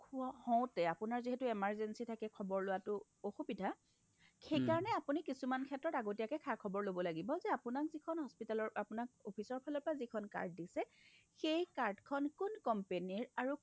হোৱা হওঁতে আপোনাৰ যিহেতু emergency থাকে খৱৰ লোৱাটো অসুবিধা সেইকাৰণে আপুনি কিছুমান ক্ষেত্ৰত আপুনি আগতীয়াকৈ খা-খবৰ ল'ব লাগিব যে আপোনাক যিখন hospital ৰ আপোনাক officeৰ ফালৰ পৰা যিখন card দিছে সেই card খন কোন company ৰ আৰু